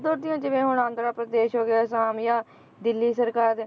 ਉੱਧਰ ਦੀਆਂ ਜਿਵੇਂ ਹੁਣ ਆਂਧਰਾ ਪ੍ਰਦੇਸ਼ ਹੋ ਗਿਆ, ਆਸਾਮ ਹੋ ਜਾਂ ਦਿੱਲੀ ਸਰਕਾਰ